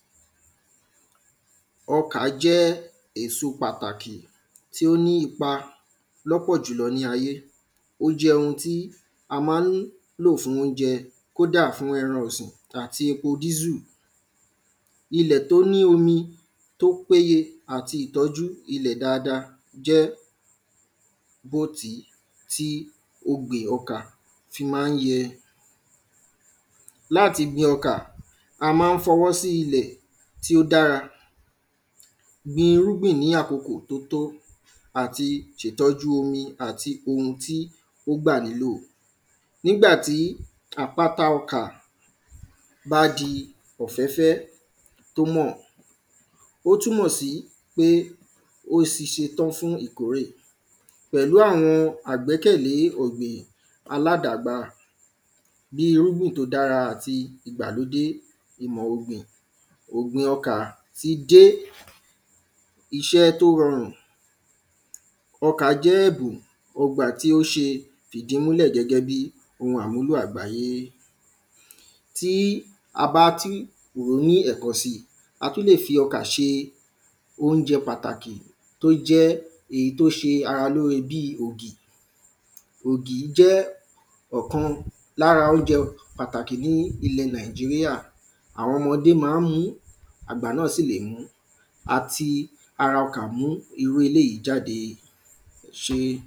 ọkà jẹ́ éso pàtàkì tí ó ní ipa lọ́pọ̀ jùlọ ní ayé o jẹ́ ohun tí a má ń lò fún oúnjẹ kóda fún ẹran ọ̀sìn àti epo dísù ilẹ̀ tó ní omi tó péye àti ìtọ́jú ilẹ̀ dáadáa jẹ́ gbòtí tí ogbè ọkà fi má ń yẹ láti gbin ọkà a má ń fọwọ́ sí ilẹ̀ tí ó dára gbin irúgbìn ní àkókò tó tó àti ṣe ìtọ́jú omi àti ohun tí ó gbà nílò nígbàtí àpáta ọkà bá di ọ̀fẹ́fẹ́ tó mọ̀ ó túnmọ̀ sí pé ó ti ṣetán fún ìkórè pẹlú awọn àgbẹ́kẹ̀lé ọ̀gbìn aládàgbáà bí irúgbìn tó dára àti ìmọ̀ ọ̀gbìn ọ̀gbìn ọkà ti dé ọkà jẹ́ ẹ̀bùn ọgbà tí ó ṣe fìdí mú lẹ̀ gẹ́gẹ́ bí ohun àmúlò àgbáyé tí a bá tí ròó ní ẹ̀kan si a tún le fi ọkà ṣe oúnjẹ́ pàtàkì tó jẹ́ èyí tó ṣe ara lóore bíi ògì ògì jẹ́ ọ̀kan lára oúnjẹ pàtàkì ní ilẹ̀ nàìjíríà àwọn ọmọdé má ń mú àgbà náà sì le mú a ti ara ọkà mú irú eléjìí jáde ẹṣé